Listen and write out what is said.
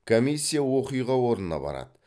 комиссия оқиға орнына барады